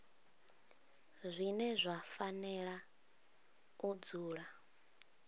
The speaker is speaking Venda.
zwine zwa fanela u dzula